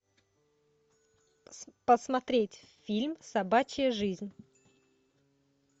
посмотреть фильм собачья жизнь